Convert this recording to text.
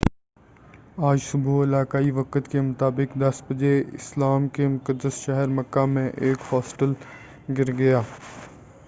آج صبح علاقائی وقت کے مطابق 10 بجے اسلام کے مقدس شہر مکہ میں ایک ہوسٹل گر گیا